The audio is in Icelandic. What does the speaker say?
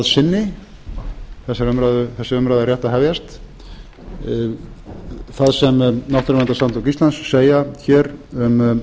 sinni þessi umræða er rétt að hefjast það sem náttúruverndarsamtök íslands segja hér um